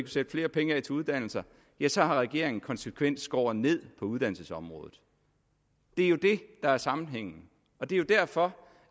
sætte flere penge af til uddannelser så har regeringen konsekvent skåret ned på uddannelsesområdet det er jo det der er sammenhængen og det er jo derfor